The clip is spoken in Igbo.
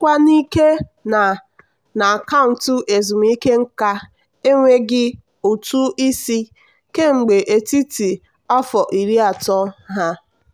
nchekwa n'ike na na akaụntụ ezumike nka enweghị ụtụ isi kemgbe etiti afọ iri atọ ha.